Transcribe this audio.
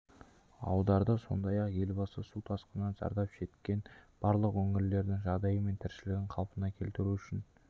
аударды сондай-ақ елбасы су тасқынынан зардап шеккен барлық өңірлердің жағдайы мен тіршілігін қалпына келтіру үшін